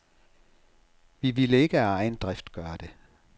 Vi ville ikke af egen drift gøre det.